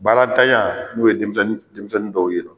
Baaratanya n'u ye denmisɛnnin dɔw ye